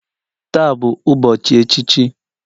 Taa bụ ụbọchị echichi